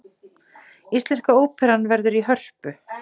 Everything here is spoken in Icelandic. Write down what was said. Íslenska óperan verður í Hörpu